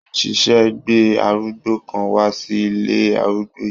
Wọ́n ṣẹ̀ṣẹ̀ gbé arúgbó kan wá sí ilé arúgbó yìí.